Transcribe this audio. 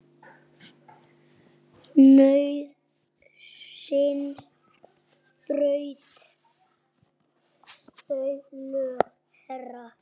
Nauðsyn braut þau lög, herra.